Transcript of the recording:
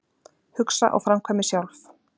Hugsa og framkvæmi sjálf